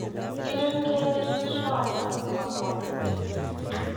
Rireeng' kogerichot ab gobwotutik.